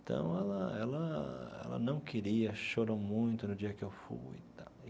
Então, ela ela ela não queria, chorou muito no dia em que eu fui tal.